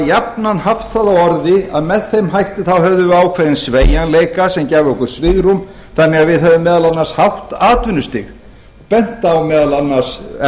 jafnan haft það á orði að með þeim hætti hefðum við ákveðinn sveigjanleika sem gæfi okkur svigrúm þannig að við hefðum meðal annars hátt atvinnustig bent á meðal annars